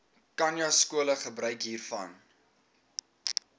khanyaskole gebruik hiervan